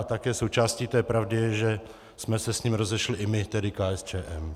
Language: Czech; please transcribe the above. A také součástí té pravdy je, že jsme se s ním rozešli i my, tedy KSČM.